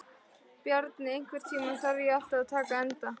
Bjarni, einhvern tímann þarf allt að taka enda.